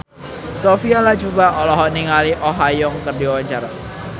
Sophia Latjuba olohok ningali Oh Ha Young keur diwawancara